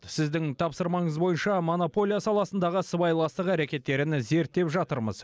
сіздің тапсырмаңыз бойынша монополия саласындағы сыбайластық әрекеттерін зерттеп жатырмыз